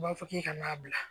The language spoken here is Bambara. U b'a fɔ k'i kana n'a bila